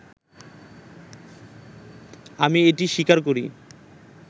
“আমি এটি স্বীকার করি